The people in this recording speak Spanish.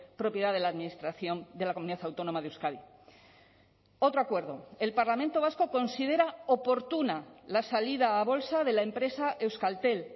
propiedad de la administración de la comunidad autónoma de euskadi otro acuerdo el parlamento vasco considera oportuna la salida a bolsa de la empresa euskaltel